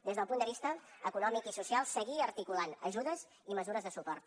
des del punt de vista econòmic i social seguir articulant ajudes i mesures de suport